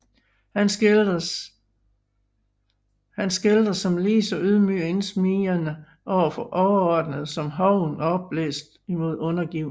Han skildres som lige så ydmyg og indsmigrende over for overordnede som hoven og opblæst imod undergivne